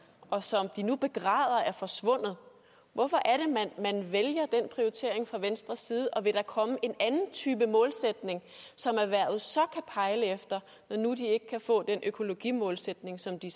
og som de nu begræder er forsvundet hvorfor er det man vælger den prioritering fra venstres side og vil der komme en anden type målsætning som erhvervet så kan pejle efter når nu de ikke kan få den økologimålsætning som de